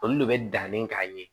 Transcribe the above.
Olu de bɛ danni k'a ye